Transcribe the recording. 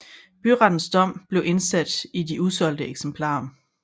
Byrettens dom blev indsat i de usolgte eksemplarer